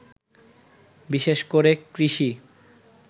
বিশেষ করে কৃষি